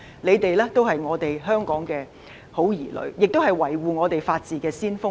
他們都是香港的好兒女，也是維護法治的先鋒。